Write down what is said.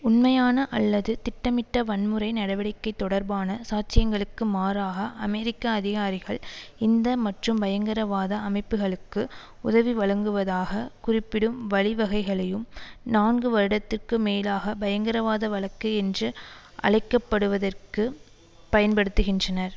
உண்மையான அல்லது திட்டமிட்ட வன்முறை நடவடிக்கை தொடர்பான சாட்சியங்களுக்கு மாறாக அமெரிக்க அதிகாரிகள் இந்த மற்றும் பயங்கரவாத அமைப்புகளுக்கு உதவி வழங்குவதாக குறிப்பிடும் வழிவகைகளையும் நான்கு வருடத்திற்கு மேலாக பயங்கிரவாத வழக்கு என்று அழைக்கப்படுவதிற்கு பயன்படுத்துகின்றனர்